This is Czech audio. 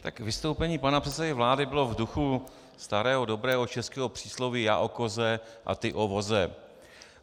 Tak vystoupení pana předsedy vlády bylo v duchu starého dobrého českého přísloví já o koze a ty o voze.